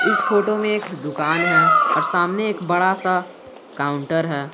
इस फोटो में एक दुकान है और सामने एक बड़ा सा काउंटर है।